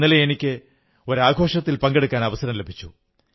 ഇന്നലെ എനിക്ക് ഒരു ആഘോഷത്തിൽ പങ്കെടുക്കാൻ അവസരം ലഭിച്ചു